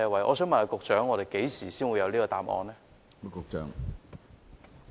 我想問局長何時才會有答案呢？